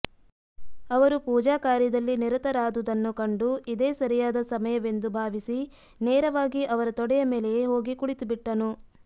ಅವರು ಪೂಜಾ ಕಾರ್ಯದಲ್ಲಿ ನಿರತರಾದುದನ್ನು ಕಂಡು ಇದೇ ಸರಿಯಾದ ಸಮಯವೆಂದು ಭಾವಿಸಿ ನೇರವಾಗಿ ಅವರ ತೊಡೆಯ ಮೇಲೆಯೇ ಹೋಗಿ ಕುಳಿತುಬಿಟ್ಟನು